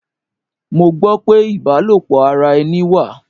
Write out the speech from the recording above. Mo gbó pé ibalopo ara ẹni wà.